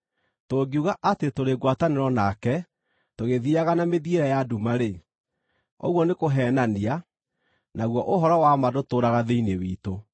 Tũngiuga atĩ tũrĩ ngwatanĩro nake, tũgĩthiiaga na mĩthiĩre ya nduma-rĩ, ũguo nĩkũheenania, naguo ũhoro wa ma ndũtũũraga thĩinĩ witũ.